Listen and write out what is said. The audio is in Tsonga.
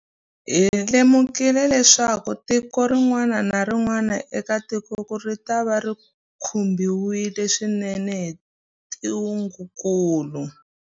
Hi lemukile leswaku tiko rin'wana na rin'wana eka tikokulu ritava ri khumbiwile swinene hi ntungukulu.